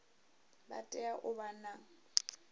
vha tea u vha na